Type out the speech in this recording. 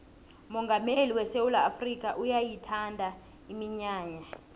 umongameli wesewula afrikha uyayithanda iminyanya